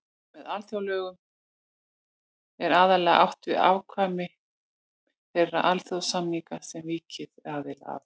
Með alþjóðalögum er aðallega átt við ákvæði þeirra alþjóðasamninga sem ríki eru aðilar að.